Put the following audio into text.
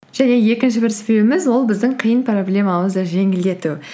және екінші бір себебіміз ол біздің қиын проблемамызды жеңілдету